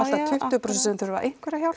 prósent sem þurfa einhverja hjálp